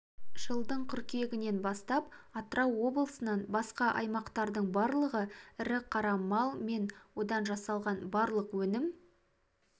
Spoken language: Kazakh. жылдың қыркүйегінен бастап атырау облысынан басқа аймақтардың барлығы ірі қара мал мен одан жасалған барлық өнім